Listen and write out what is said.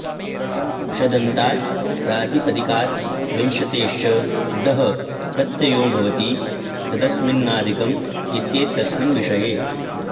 शदन्तात् प्रातिपदिकात् विंशतेश्च डः प्रत्ययो भवति तदस्मिन्नधिकम् इत्येतस्मिन् विषये